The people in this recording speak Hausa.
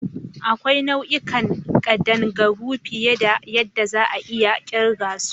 Akwai nau'ikan kadangaru fiye da yadda za'a iya kirga su.